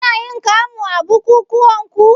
Kunayin kamu a bukukuwanku?